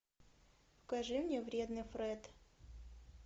покажи мне вредный фред